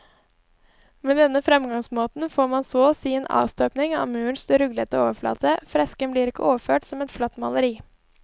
Med denne fremgangsmåten får man så å si en avstøpning av murens ruglete overflate, fresken blir ikke overført som et flatt maleri.